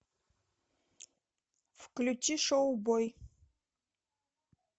включи шоу бой